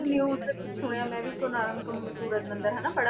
news ਤੇ ਵੀ ਸੁਣਿਆ ਮੈਂ ਵੀ ਕੋਨਾਰਕ ਕ~ ਸੂਰਜ ਮੰਦਿਰ ਹਨਾ ਬੜਾ